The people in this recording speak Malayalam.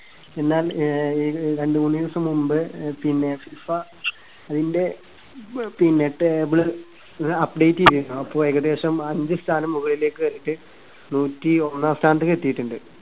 പിന്നെ ഏ രണ്ടുമൂന്നു ദിവസം മുൻപ് അഹ് പിന്നെ ഫിഫ അതിന്റെ പിന്നെ table update ചെയ്‌തിരുന്നു. അപ്പോ ഏകദേശം അഞ്ച് സ്ഥാനം മുകളിലേക്ക് കേറിയിട്ട് നൂറ്റിയൊന്നാം സ്ഥാനത്തേക്ക് എത്തിയിട്ടുണ്ട്.